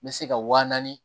N bɛ se ka wa naani